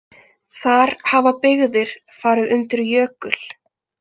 Þar hafa byggðir farið undir jökul.